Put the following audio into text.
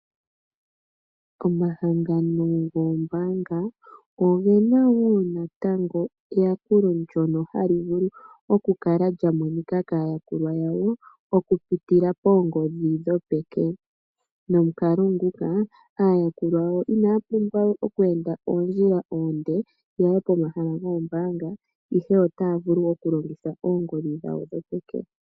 Omahangano goombaanga ogena woo na tango eyakulo ndyono hali vulu oku kala lyamonika kaa yakulwa yawo okupitila poongondhi ndho peke, nomukalo nguka aayakulwa yawo inaya pumbwa oku enda oondjila oonde yaye komahala goombaanga ihe otaa vulu okulongitha oongondhi dhawo dhopeke.